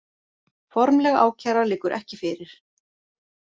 Formleg ákæra liggur ekki fyrir